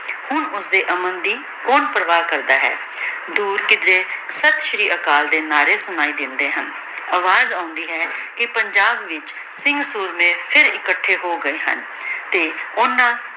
ਹਨ ਓਸਦੀ ਅਮਨ ਦੀ ਕੋੰ ਪਰਵਾਹ ਕਰਦਾ ਹੈ ਦੂਰ ਕਿਦ੍ਰੀ ਸਸ੍ਰੀਆਕਲ ਦੇ ਨਾਰੇ ਸੁਨਾਈ ਦੇਂਦੀ ਹਨ ਅਵਾਜ਼ ਆਉਂਦੀ ਹੈ ਕੇ ਪੰਜਾਬ ਵਿਚ ਵੀਰ ਸੋਰ੍ਮਾਯ ਫੇਰ ਇਕਠੀ ਹੋ ਗਾਯ ਹਨ ਤੇ ਓਹਨਾਂ